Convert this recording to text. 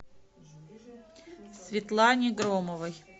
светлане громовой